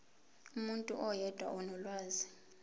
umuntu oyedwa onolwazi